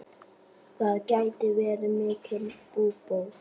Það geti verið mikil búbót.